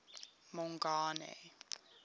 mongane